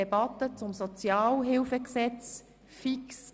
Es geht um das Sozialhilfegesetz (SHG).